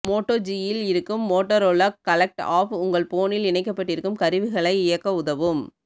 Moto ஜியில் இருக்கும் Motorola connect app உங்க போனில் இணைக்கப்பட்டிருக்கும் கருவிகளை இயக்க உதவும்